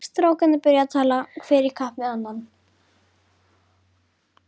Strákarnir byrjuðu að tala hver í kapp við annan.